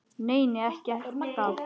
Nei, nei, ekkert gat!